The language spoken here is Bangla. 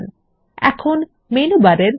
তাহলে নথির একটি পৃষ্ঠার উপর ক্লিক করুন